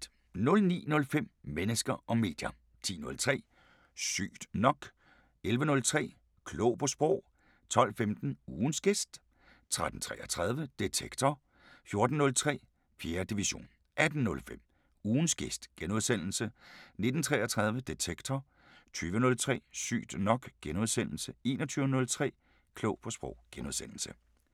09:05: Mennesker og medier 10:03: Sygt nok 11:03: Klog på Sprog 12:15: Ugens gæst 13:33: Detektor 14:03: 4. division 18:05: Ugens gæst * 19:33: Detektor 20:03: Sygt nok * 21:03: Klog på Sprog *